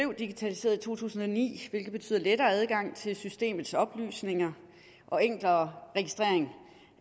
digitaliseret i to tusind og ni hvilket betyder lettere adgang til systemets oplysninger og enklere registrering